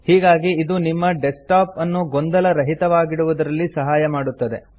ಹೀಗಾಗಿ ಇದು ನಿಮ್ಮ ಡೆಸ್ಕ್ಟಾಪ್ ಅನ್ನು ಗೊಂದಲ ರಹಿತವಾಗಿಡುವುದರಲ್ಲಿ ಸಹಾಯ ಮಾಡುತ್ತದೆ